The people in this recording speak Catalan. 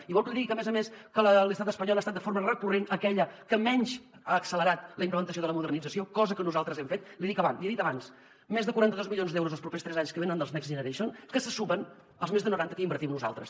i vol que li digui que a més a més a l’estat espanyol ha estat de forma recurrent aquella que menys ha accelerat la implantació de la modernització cosa que nosaltres hem fet l’hi he dit abans més de quaranta dos milions d’euros els propers tres anys que venen dels next generation que se sumen als més de noranta que hi invertim nosaltres